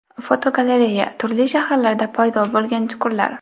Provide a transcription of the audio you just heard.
Fotogalereya: Turli shaharlarda paydo bo‘lgan chuqurlar.